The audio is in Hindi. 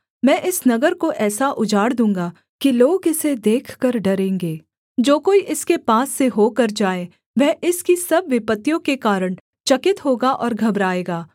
मैं इस नगर को ऐसा उजाड़ दूँगा कि लोग इसे देखकर डरेंगे जो कोई इसके पास से होकर जाए वह इसकी सब विपत्तियों के कारण चकित होगा और घबराएगा